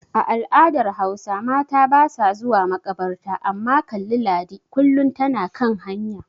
A al'adar Hausa mata basa zuwa makabarta amma kalli Ladi kullin tana kan hanya.